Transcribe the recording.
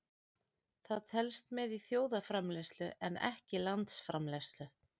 Það telst með í þjóðarframleiðslu en ekki landsframleiðslu.